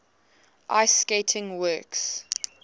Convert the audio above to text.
ice skating works